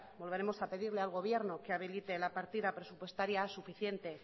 volveremos a pedirle al gobierno que habilite la partida presupuestaria suficiente